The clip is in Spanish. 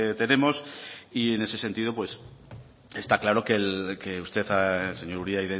tenemos y en ese sentido está claro que usted señor uria